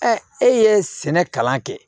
e ye sɛnɛ kalan kɛ